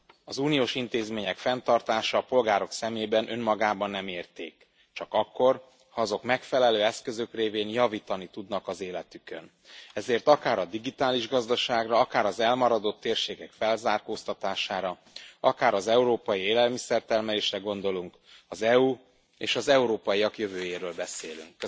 Az uniós intézmények fenntartása a polgárok szemében önmagában nem érték, csak akkor, ha azok megfelelő eszközök révén javítani tudnak az életükön, ezért akár a digitális gazdaságra, akár az elmaradott térségek felzárkóztatására, akár az európai élelmiszer termelésre gondolunk, az EU és az európaiak jövőjéről beszélünk.